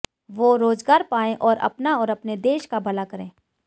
वो रोजगार पाये और अपना और अपने देश का भला करें